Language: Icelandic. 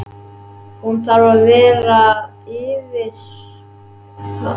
Hún þarf að vera yfir tilteknu gildi til þess.